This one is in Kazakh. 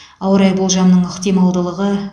ауа райы болжамының ықтималдылығы